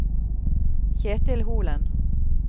Kjetil Holen